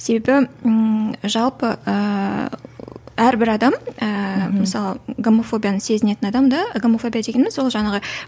себебі ііі жалпы ііі әрбір адам ііі мысалы гомофобияны сезінетін адам да гомофобия дегеніміз ол жаңағы